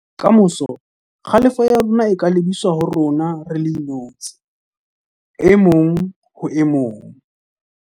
Ka moso, kgalefo ya rona e ka lebiswa ho rona re le inotshi - e mong ho e mong